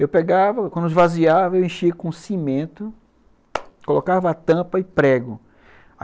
Eu pegava, quando esvaziava, eu enchia com cimento, colocava a tampa e prego.